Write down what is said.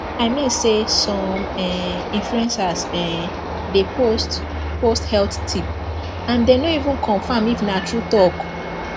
i mean say some um influencers um dey post post health tip and dem no even confirm if na true talk